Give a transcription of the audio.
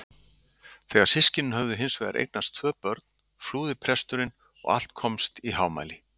Þegar systkinin höfðu hins vegar eignast tvö börn flúði presturinn og allt komst í hámæli.